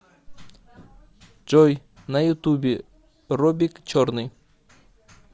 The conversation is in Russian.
джой на ютубе робик черный